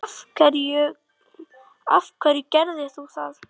af hverju gerðir þú það?